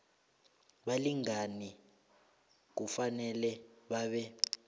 balingani kufanele babe